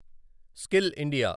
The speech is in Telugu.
skill India